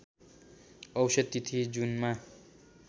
औसत तिथि जुनमा